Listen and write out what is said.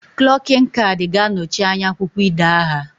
Klokin cad ga anochi anya akwukwo ide aha